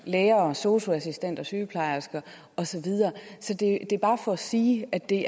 lærere sosu assistenter sygeplejersker og så videre så det er bare for at sige at det